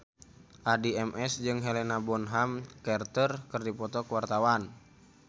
Addie MS jeung Helena Bonham Carter keur dipoto ku wartawan